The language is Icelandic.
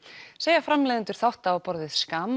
segja framleiðendur þátta á borð við